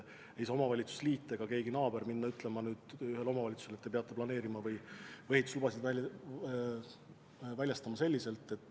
Ei saa omavalitsuste liit ega mõni naabervald minna ütlema ühele omavalitsusele, et te peate planeerima või ehituslubasid väljastama selliselt.